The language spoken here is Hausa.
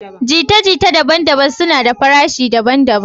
Jita-jita daban-daban suna da farashi daban-daban.